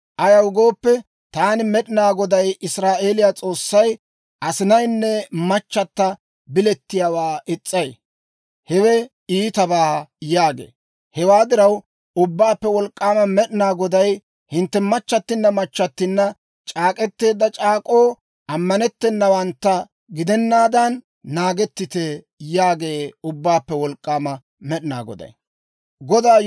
Ayaw gooppe, «Taani Med'ina Goday, Israa'eeliyaa S'oossay, asinaynne machchata bilettiyaawaa is's'ay; hewe iitabaa» yaagee. Hewaa diraw, Ubbaappe Wolk'k'aama Med'ina Goday, «Hintte machchattinna machchattinna c'aak'k'eteedda c'aak'k'oo ammanettennawantta gidennaadan naagettite» yaagee Ubbaappe Wolk'k'aama Med'ina Goday.